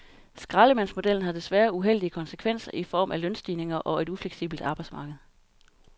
Skraldemandsmodellen har desværre uheldige konsekvenser i form af lønstigninger og et ufleksibelt arbejdsmarked.